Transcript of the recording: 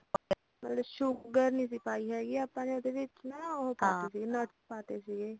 ਮਤਲੱਬ sugar ਨਹੀਂ ਸੀ ਪਾਈ ਸੀਗੀ ਆਪਾ ਉਹਦੇ ਵਿੱਚ ਨਾ ਉਹੋ nuts ਪਾਤੇ ਸੀਗੇ